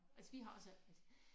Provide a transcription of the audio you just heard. Altså vi har også